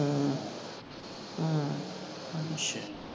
ਅੱਛਾ